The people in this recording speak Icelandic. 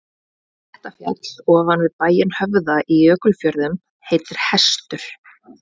Klettafjall ofan við bæinn Höfða í Jökulfjörðum heitir Hestur.